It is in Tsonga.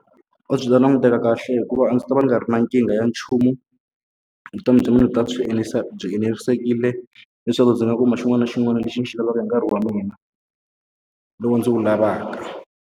A byi ta languteka kahle hikuva a ndzi ta va ni nga ri na nkingha ya nchumu. Vutomi bya mina byi ta byi byi enerisekile leswaku ndzi nga kuma xin'wana na xin'wana lexi ndzi xi lavaka hi nkarhi wa mina lowu ndzi wu lavaka.